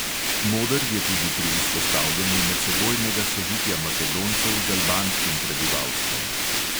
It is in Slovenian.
Moder je tudi pri vzpostavljanju medsebojnega sožitja makedoncev z albanskim prebivalstvom.